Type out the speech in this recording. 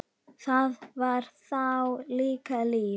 Það var þá líka líf!